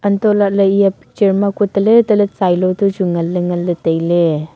hantoh lah ley eya picture ma kue tale tale tsailo toh chu ngan ley tai ley.